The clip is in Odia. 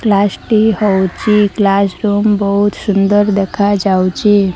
କ୍ଲାସ ଟି ହଉଛି କ୍ଲାସ ରୁମ୍ ବହୁତ ସୁନ୍ଦର୍ ଦେଖାଯାଉଛି।